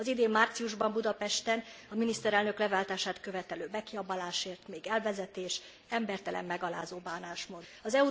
Az idén márciusban Budapesten a miniszterelnök leváltását követelő bekiabálásért még elvezetés, embertelen, megalázó bánásmód járt.